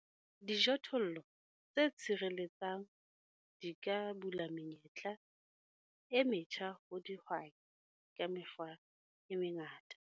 Dijothollo tse tshireletsang di ka bula menyetla e metjha ho dihwai ka mekgwa e mengata.